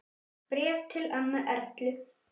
Bréf til ömmu Erlu.